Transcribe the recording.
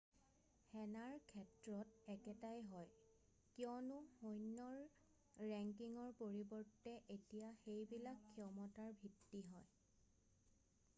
সেনাৰ ক্ষেত্ৰত একেটাই হয় কিয়নো সৈন্যৰ ৰেংকিঙৰ পৰিৱৰ্তে এতিয়া সেইবিলাক ক্ষমতাৰ ভিত্তি হয়